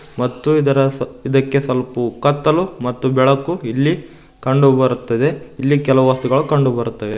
ಮತ್ತು ಇದರ ಸ ಇದಕ್ಕೆ ಸ್ವಲ್ಪ ಉ ಕತ್ತಲು ಮತ್ತು ಬೆಳಕು ಇಲ್ಲಿ ಕಂಡು ಬರುತ್ತದೆ ಇಲ್ಲಿ ಕೆಲವು ವಸ್ತುಗಳು ಕಂಡುಬರುತ್ತದೆ.